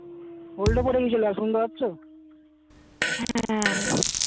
hold এ পরে গিয়েছিলো কিছু শুনতে পারছো হম